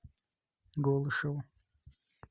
голышеву